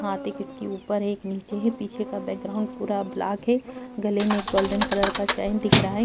हाथ एक इसके ऊपर एक नीचे है पीछे का बैकग्राउंड पूरा ब्लैक है गले में एक गोल्डन कलर का चैन दिख रहा है।